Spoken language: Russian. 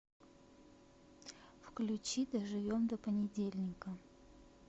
включи доживем до понедельника